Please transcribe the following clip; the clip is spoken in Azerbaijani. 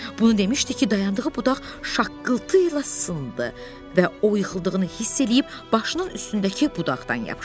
Bunu demişdi ki, dayandığı budaq şaqqıltı ilə sındı və o yıxıldığını hiss eləyib başının üstündəki budaqdan yapışdı.